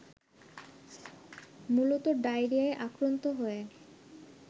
মূলত ডায়রিয়ায় আক্রান্ত হয়ে